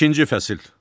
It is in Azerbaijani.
İkinci fəsil.